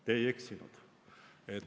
Te ei eksinud.